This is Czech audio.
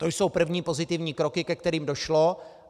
To jsou první pozitivní kroky, ke kterým došlo.